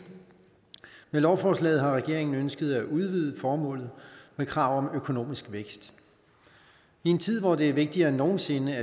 med lovforslaget har regeringen ønsket at udvide formålet med krav om økonomisk vækst i en tid hvor det er vigtigere end nogen sinde